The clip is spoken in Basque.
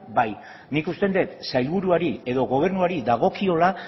bai nik uste dut sailburuari edo gobernuari dagokiola